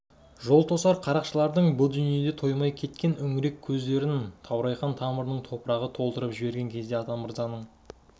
жол тосар қарақшылардың бұ дүниеде тоймай кеткен үңірек көздерін таурайхан тамырының топырағы толтырып жіберген кезде атамырзаның